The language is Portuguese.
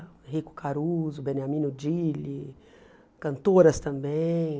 Enrico Caruso, Beniamino Dilli, cantoras também.